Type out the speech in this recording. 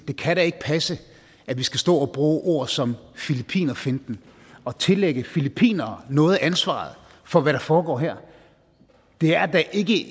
det kan da ikke passe at vi skal stå og bruge et ord som filippinerfinten og tillægge filippinere noget af ansvaret for hvad der foregår her det er da ikke